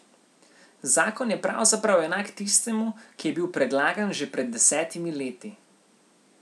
Zakon je pravzaprav enak tistemu, ki je bil predlagan že pred desetimi leti.